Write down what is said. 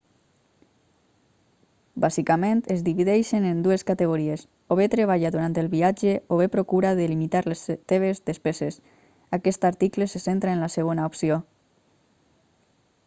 bàsicament es divideixen en dues categories o bé treballa durant el viatge o bé procura de limitar les teves despeses aquest article se centra en la segona opció